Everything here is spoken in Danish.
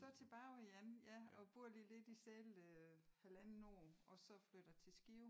Så tilbage igen ja og bor lige lidt i Celle halvanden år og så flytter til Skive